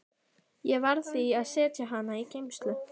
Ég varð því að setja hana í geymslu.